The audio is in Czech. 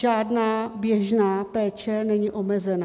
Žádná běžná péče není omezena.